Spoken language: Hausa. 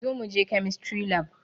Zo muje kemistry lab